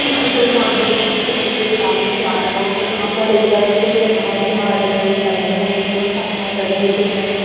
इस चित्र में आप देख सकते हैं कि एक आदमी जा रहा है और यहाँ पर इस जगह पर सिर्फ हार ही हार जो है वो टंगे हुएहैं बहुत सारे हार टंगे हुए दिख रहे हैं।